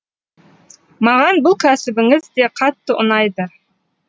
маған бұл кәсібіңіз де қатты ұнайды